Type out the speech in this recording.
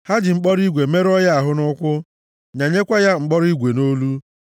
Ha ji mkpọrọ igwe merụọ ya ahụ nʼụkwụ, nyanyekwa ya mkpọrọ igwe nʼolu,